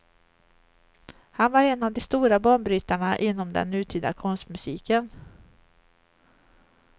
Han var en av de stora banbrytarna inom den nutida konstmusiken.